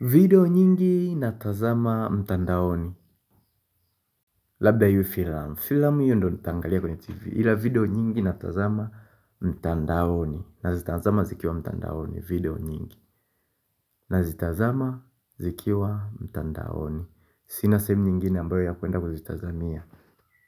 Vedio nyingi natazama mtandaoni. Labda iwe filamu. Filamu hiyo ndo nitaangalia kwenye tv ila video nyingi natazama mtandaoni. Nazitazama zikiwa mtandaoni. Video nyingi na zitazama zikiwa mtandaoni sina sehemu nyingine ambayo ya kuenda kuzitazamia